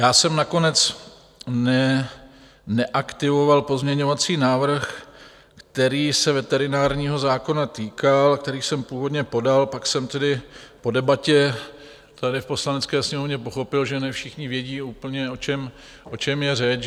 Já jsem nakonec neaktivoval pozměňovací návrh, který se veterinárního zákona týkal, který jsem původně podal, pak jsem tedy po debatě tady v Poslanecké sněmovně pochopil, že ne všichni vědí úplně, o čem je řeč.